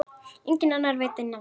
Enginn annar veit af nefinu.